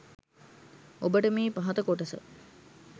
ඔබට මේ පහත කොටස